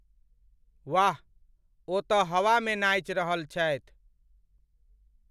वाह, ओ तऽ हवामे नाचि रहल छथि।